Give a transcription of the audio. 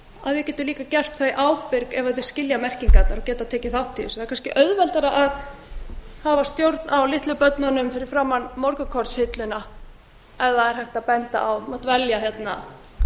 að við getum líka gert það í ábyrgð ef þeir skilja merkingarnar og geta tekið þátt í þessu það er kannski auðveldara að hafa stjórn á litlu börnunum fyrir framan morgunkornshilluna ef það er hægt að benda á þú mátt velja hérna